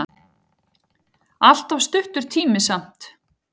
Allt of stuttur tími samt.